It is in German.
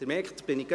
Sie merken es: